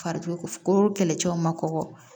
Fari ko kɛlɛcɛw ma kɔgɔ